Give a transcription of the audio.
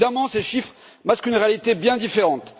Évidemment, ces chiffres masquent une réalité bien différente.